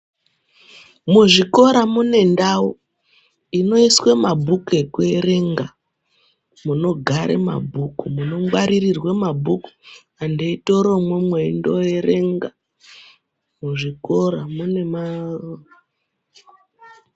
Muzvikora mune ndau inoiswe mabhukuku ekuerenga munogare mabhuku munongwaririrwe mabhuku vantu veitore imwomwo eindoerenga muzvikora mune .